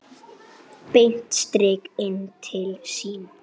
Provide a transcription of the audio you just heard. Beint strik inn til sín.